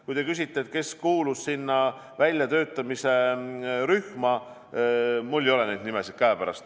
Kui te küsite, kes sinna väljatöötamise rühma kuulus, siis mul ei ole praegu neid nimesid käepärast.